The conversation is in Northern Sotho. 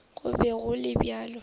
go be go le bjalo